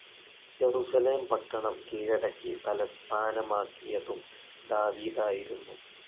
Jerusalem പട്ടണം കീഴടക്കി തലസ്ഥാനമാക്കിയതും ദാവീദായിരുന്നു.